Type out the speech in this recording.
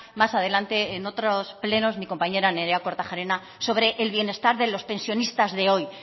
más adelante en otros plenos mi compañera nerea kortajarena sobre el bienestar de los pensionistas de hoy